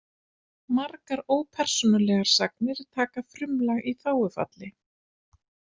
Margar ópersónulegar sagnir taka frumlag í þágufalli.